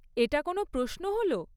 এটা কোনও প্রশ্ন হল?